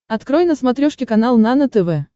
открой на смотрешке канал нано тв